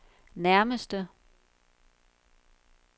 nærmeste